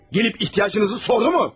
Gəlib ehtiyacınızı sordu mu?